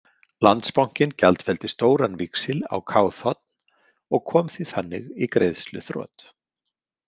Landsbankinn gjaldfelldi stóran víxil á KÞ og kom því þannig í greiðsluþrot.